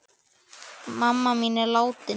Mamma mín er látin.